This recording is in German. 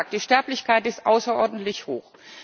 Wie gesagt, die Sterblichkeit ist außerordentlich hoch.